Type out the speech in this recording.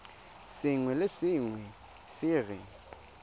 sengwe le sengwe se re